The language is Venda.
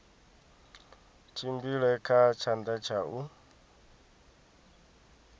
tshimbile kha tshanḓa tsha u